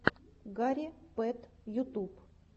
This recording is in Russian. гарри пэт ютуб